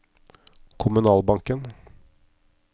kommunalbanken